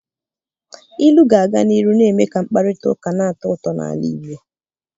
Ilu ga-aga n'ihu na-eme ka mkparịta ụka na-atọ ụtọ n'ala Igbo.